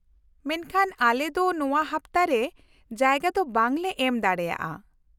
-ᱢᱮᱱᱠᱷᱟᱱ ᱟᱞᱮ ᱫᱚ ᱱᱚᱶᱟ ᱦᱟᱯᱛᱟ ᱨᱮ ᱡᱟᱭᱜᱟ ᱫᱚ ᱵᱟᱝ ᱞᱮ ᱮᱢ ᱫᱟᱲᱮᱭᱟᱜᱼᱟ ᱾